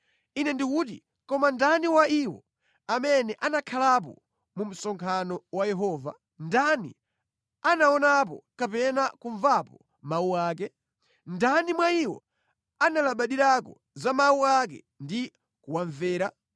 Ine ndikuti, “Koma ndani wa iwo amene anakhalapo mu msonkhano wa Yehova? Ndani anaonapo kapena kumvapo mawu ake? Ndani mwa iwo analabadirako za mawu ake ndi kuwamvera?